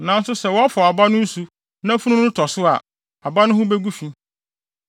Nanso sɛ wɔfɔw aba no nsu na funu no tɔ so a, aba no ho begu fi.